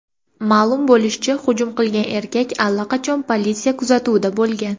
Ma’lum bo‘lishicha, hujum qilgan erkak allaqachon politsiya kuzatuvida bo‘lgan.